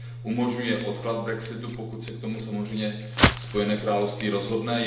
umožňuje odklad brexitu, pokud se k tomu samozřejmě Spojené království rozhodne.